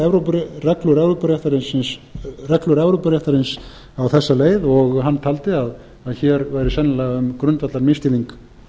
hann hefði ekki skilið reglur evrópuréttarins á þessa leið og hann taldi að hér væri sennilega um grundvallarmisskilning